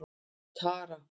Tara